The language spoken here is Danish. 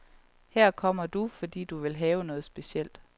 Her kommer du, fordi du vil have noget specielt.